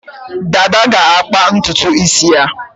Dada ga-akpa ntutu isi ya.